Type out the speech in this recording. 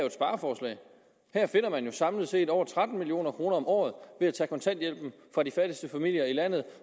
et spareforslag her finder man samlet set over tretten million kroner om året ved at tage kontanthjælpen fra de fattigste familier i landet